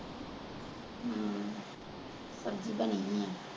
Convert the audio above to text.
ਹਮ ਸਬਜ਼ੀ ਬਣੀ ਹੋਈ।